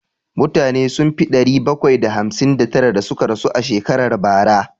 Mutane sun fi ɗari bakwai da hamsin da tara da suka rasu a shekarar bara